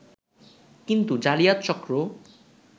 কিন্তু জালিয়াত চক্র